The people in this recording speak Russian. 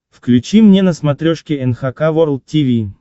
включи мне на смотрешке эн эйч кей волд ти ви